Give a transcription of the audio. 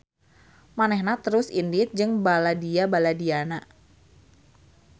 Manehna terus indit jeung baladia-baladiana.